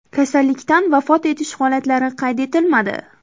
Kasallikdan vafot etish holatlari qayd etilmadi.